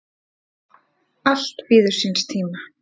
Allt bíður síns tíma.